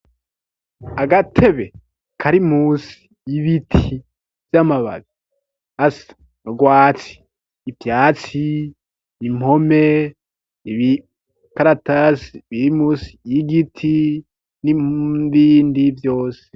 agatebe karimusi y'ibiti vy'amababi asa n’urwatsi ivyatsi impome ibikaratasi birimusi y'igiti n'ibindi vyose